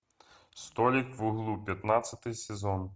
столик в углу пятнадцатый сезон